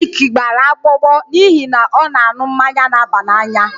Dick gbara agbọ agbọ n'ihi na ọ na-aṅụ mmanya na-aba n'anya